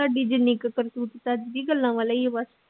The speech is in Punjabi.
ਤਾਡੀ ਜਿੰਨੀ ਕੁ ਕਰਤੂਤ ਚੱਜ ਦੀ ਗੱਲਾਂ ਵਾਲੇ ਈ ਓ ਬਸ